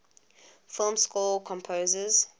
film score composers